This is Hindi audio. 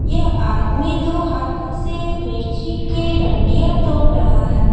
यह आदमी दो हाथों से मिर्ची के डांडिया तोड़ रहा है।